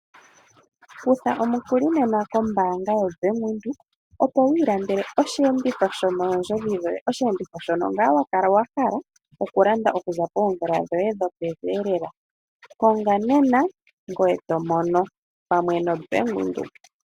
Kutha omukuli nena kombaanga yoBank Windhoek opo wu iilandele oshiyenditho sho mondjodhi dhoye, oshiyenditho shoka wa kala wa hala okulanda okuza poomvula dhoye dho pevi lela konga nena ngoye tomono pamwe no Bank Windhoek.